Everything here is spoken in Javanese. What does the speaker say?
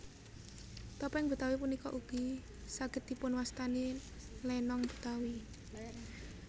Topéng Betawi punika ugi saged dipunwastani lénong Betawi